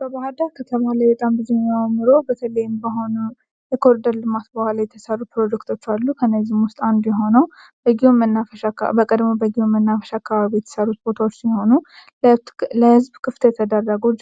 በባህር ዳር ከተማ በኮሪደር ልማት የተሰሩ ፕሮጀክቶች አሉ ከእነዚህም ውስጥ አንዱ የሆነው በቀድሞ በጊዮን መናፈሻ አካባቢ የተሰራው ቦታዎች ሲሆኑ ለህዝብ ክፍት የተደረጉ